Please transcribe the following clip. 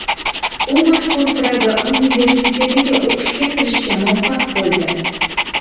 U mashhur Praga universitetiga o‘qishga kirishga muvaffaq bo‘ldi.